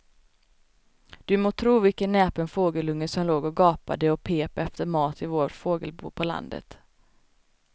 Du må tro vilken näpen fågelunge som låg och gapade och pep efter mat i vårt fågelbo på landet.